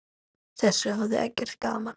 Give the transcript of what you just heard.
Þessu hafði Eggert gaman af.